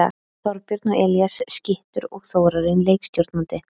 Þorbjörn og Elías skyttur og Þórarinn leikstjórnandi!